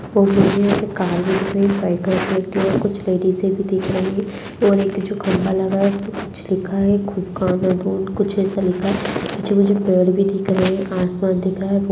मुझे यहाँ पे काले दिखाई साइकिल रेड कलर कुछ लेडिस भी दिखाई और एक जो खम्बा लगा हुआ है उसपे कुछ लिखा है वाला बोर्ड कुछ ऐसा लिखा है जो की मुझे बोर्ड भी दिख रहा है आस-पास दिख रहा है वो --